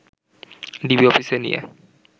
DB অফিসে নিয়ে